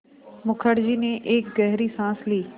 मुखर्जी ने एक गहरी साँस ली